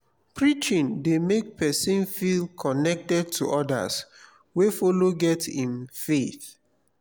preaching dey mek pesin feel connected to odas wey follow get im faith.